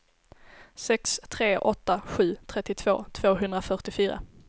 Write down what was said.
sex tre åtta sju trettiotvå tvåhundrafyrtiofyra